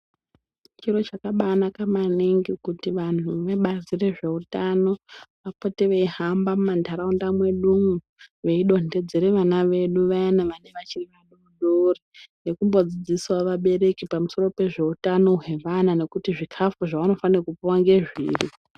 Chiro chakabaanaka maningi kuti vanhu vebazi rezveutano vapote veihamba mumantaraunda mwedumwo, veidontedzere vana vedu vayana vanenge vachiri vadodori, nekumbodzidzisawo vabereki pamusoro pezveutano hwevana, nekuti zvikhafu zvevanofane kupuwa ngezviri.